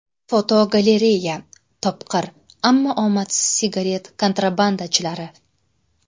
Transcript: Fotogalereya: Topqir, ammo omadsiz sigaret kontrabandachilari.